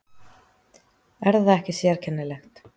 Er það ekki sérkennilegt?